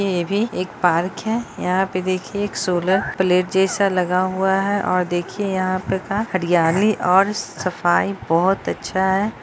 ये भी एक पार्क है यहाँ पे देखिये एक सोलर प्लेट जैसा लगा हुआ है और देखिए यहाँ पे हरयाली और सफाई बहुत अच्छा है।।